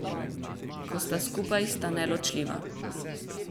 Ko sta skupaj, sta neločljiva.